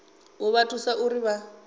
u vha thusa uri vha